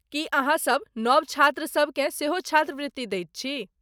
की अहाँसभ नव छात्रसभ केँ सेहो छात्रवृत्ति दैत छी?